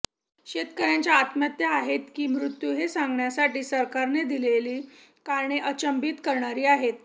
शेतकऱ्यांच्या आत्महत्या आहेत की मृत्यू हे सांगण्यासाठी सरकारने दिलेली कारणे अचंबित करणारी आहेत